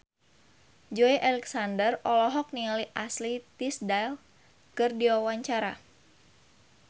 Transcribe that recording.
Joey Alexander olohok ningali Ashley Tisdale keur diwawancara